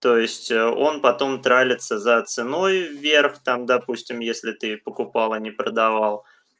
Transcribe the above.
то есть он потом тралится за ценой вверх там допустим если ты покупал а не продавал